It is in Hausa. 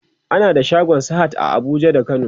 ana da shagon sahad a Abuja da kano